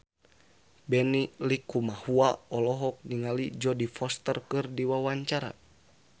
Benny Likumahua olohok ningali Jodie Foster keur diwawancara